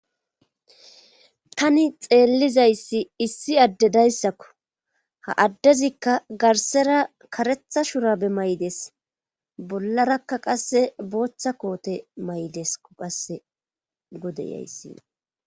Tani xeellizayssi issi addedayssakko ha addezikka garsera karetha shurabe may7des bollarakka qasse booththa koote maydeskko qasse godeyayssi..